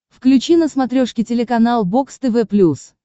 включи на смотрешке телеканал бокс тв плюс